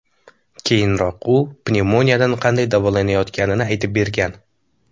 Keyinroq u pnevmoniyadan qanday davolanayotganini aytib bergan .